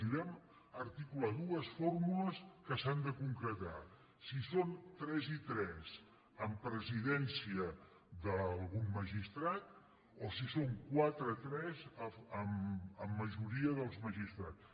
i vam articular dues fórmules que s’han de concretar si són tres i tres amb presidència d’algun magistrat o si són quatre i tres amb majoria dels magistrats